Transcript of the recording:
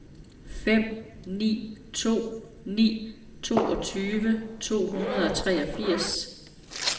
fem ni to ni toogtyve to hundrede og treogfirs